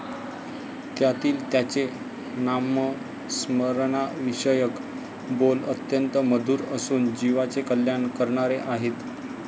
त्यातील त्यांचे नामस्मरणाविषयक बोल अत्यंत मधुर असून जीवाचे कल्याण करणारे आहेत.